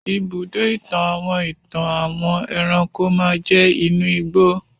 ibùdó-ìtàn àwọn ìtàn àwọn ẹranko máa jẹ́ inú ìgbó.